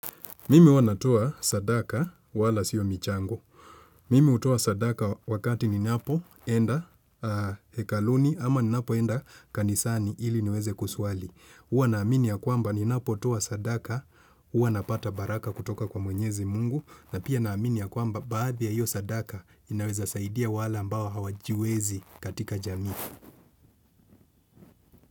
Mimi huwa natoa sadaka wala sio michango. Mimi hutoa sadaka wakati ninapo enda hekaluni ama ninapo enda kanisani ili niweze kusuali. Huwa naamini ya kwamba ninapo toa sadaka, huwa napata baraka kutoka kwa mwenyezi mungu. Na pia naamini ya kwamba baadhi ya hiyo sadaka inaweza saidia wale ambao hawajiwezi katika jamii.